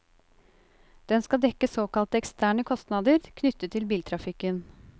Den skal dekke såkalte eksterne kostnader knyttet til biltrafikken.